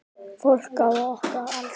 Fólk á okkar aldri.